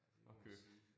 At købe